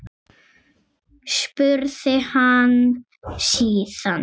spurði hann síðan.